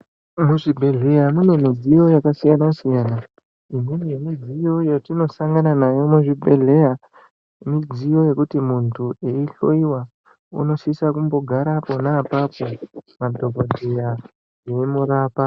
Muzvibhedhleya mune midziyo yakasiyana siyana imweni yemidziyo yatinosangana nayo muzvibhedhleya mudziyo yekuti muntu eihloiwa unosisa kumbogara pona apapo madhokodheya eimurapa.